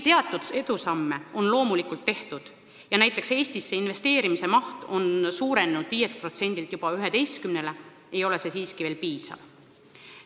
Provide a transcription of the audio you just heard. Teatud edusamme on loomulikult tehtud ja näiteks Eestisse investeerimise maht on juba suurenenud 5%-lt 11%-ni, aga see ei siiski piisav.